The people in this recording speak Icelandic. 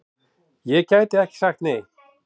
Ég gæti ekki sagt nei!